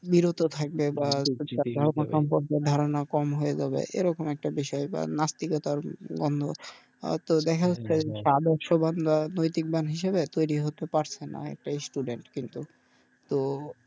বিরত থাকবে বা ধারনা কম হয়ে যাবে এরকম একটা বিষয় বা নাস্তিকের তো দেখা যাচ্ছে হিসেবে তৈরি হতে পারছে না এটাই কিন্তু তো,